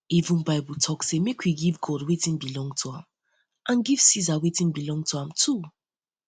even bible bible talk say make we give god wetin belong to am and give ceasar wetin belong to am too